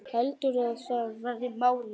Heldurðu að það verði málið?